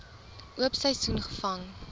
oop seisoen gevang